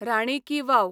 राणी की वाव